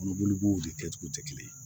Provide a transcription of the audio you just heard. Kɔnɔboli b'o de kɛcogo tɛ kelen ye